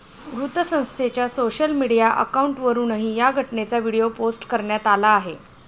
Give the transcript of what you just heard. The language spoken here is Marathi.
वृत्तसंस्थेच्या सोशल मीडिया अकाऊंटवरुनही या घटनेचा व्हिडीओ पोस्ट करण्यात आला आहे.